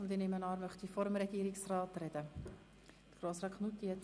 Ich nehme an, er möchte vor dem Regierungsrat sprechen.